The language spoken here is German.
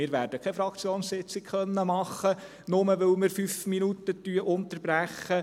Wir werden keine Fraktionssitzung machen können, nur, weil wir fünf Minuten unterbrechen.